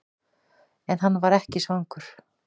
En hann var ekki svangur.